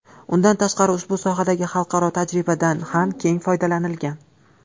Undan tashqari ushbu sohadagi xalqaro tajribadan ham keng foydalanilgan.